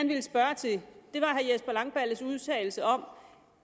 vil spørge til er herre jesper langballes udtalelse om